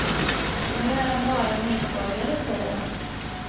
Nu är han bara medborgare, säger han.